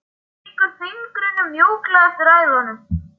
Hún strýkur fingrunum mjúklega eftir æðunum.